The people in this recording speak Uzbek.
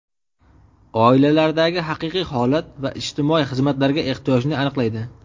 oilalardagi haqiqiy holat va ijtimoiy xizmatlarga ehtiyojni aniqlaydi.